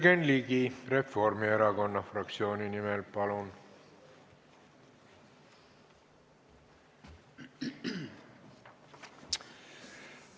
Jürgen Ligi Reformierakonna fraktsiooni nimel, palun!